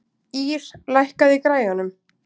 Ýr, lækkaðu í græjunum.